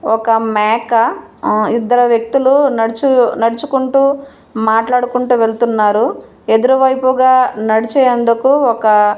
ఒక మేక ఆ ఇద్దరు వ్యక్తులు నడుచు నడుచుకుంటూ మాట్లాడుకుంటూ వెళ్తున్నారు ఎదురు వైపుగా నడిచే అందుకు ఒక--